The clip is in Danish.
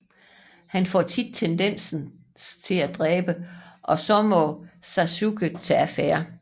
Han for tit tendens til at dræbe og så må Sasuke tage afære